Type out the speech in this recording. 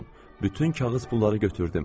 Bütün kağız pulları götürdüm.